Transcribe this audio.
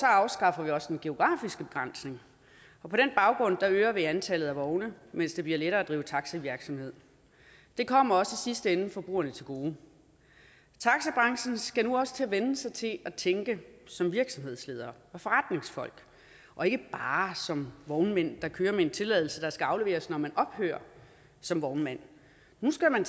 afskaffer vi også den geografiske begrænsning og på den baggrund øger vi i antallet af vogne mens det bliver lettere at drive taxivirksomhed det kommer også i sidste ende forbrugerne til gode taxibranchen skal nu også til at vænne sig til at tænke som virksomhedsledere og forretningsfolk og ikke bare som vognmænd der kører med en tilladelse der skal afleveres når man ophører som vognmand nu skal man